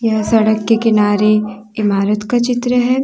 यह सड़क के किनारे इमारत का चित्र है।